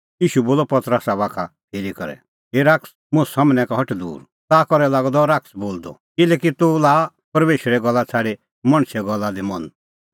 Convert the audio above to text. ईशू बोलअ पतरसा बाखा फिरी करै हे शैतान मुंह सम्हनै का हट दूर ताखा करै लागअ द शैतान बोलदअ किल्हैकि तूह लाआ परमेशरे गल्ला छ़ाडी मणछे गल्ला दी मन